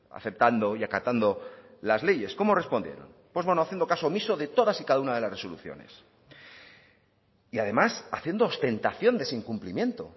aceptando y acatando las leyes cómo respondieron pues bueno haciendo caso omiso de todas y cada una de las resoluciones y además haciendo ostentación de ese incumplimiento